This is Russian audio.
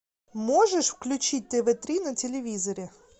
можешь включить тв три на телевизоре